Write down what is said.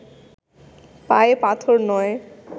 পায়ে পাথর নয়